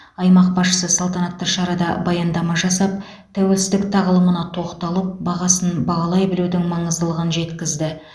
аймақ басшысы салтанатты шарада баяндама жасап тәуелсіздік тағылымына тоқталып бағасын бағалай білудің маңыздылығын жеткізді